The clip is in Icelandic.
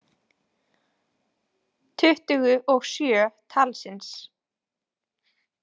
Tuttugu og sjö talsins.